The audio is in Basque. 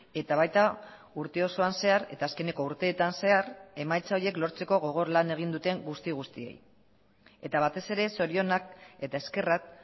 eta baita urte osoan zehar eta azkeneko urteetan zehar emaitza horiek lortzeko gogor lan egin duten guzti guztiei eta batez ere zorionak eta eskerrak